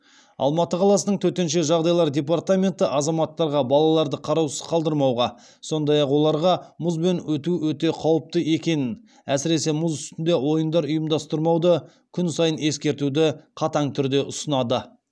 алматы қаласының төтенше жағдайлар департаменті азаматтарға балаларды қараусыз қалдырмауға сондай ақ оларға мұзбен өту өте қауіпті екенін әсіресе мұз үстінде ойындар ұйымдастырмауды күн сайын ескертуді қатаң түрде ұсынады